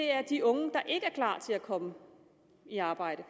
er de unge der ikke er klar til at komme i arbejde